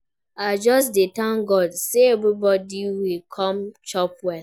I just dey thank God say everybody wey come chop well